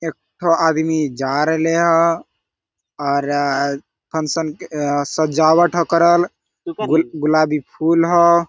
एक ठो आदमी जा रहे ले हो और फंशन सजावट हो करल और गुलाबी फूल हो।